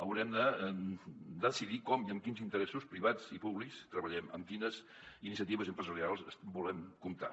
haurem de decidir com i amb quins interessos privats i públics treballem amb quines iniciatives empresarials volem comptar